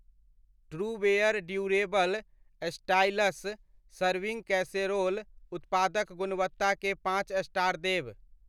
Trueware durable stylish serving casserole उत्पादक गुणवत्ता केँ पॉंच स्टार देब।